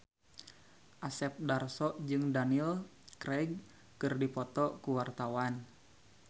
Asep Darso jeung Daniel Craig keur dipoto ku wartawan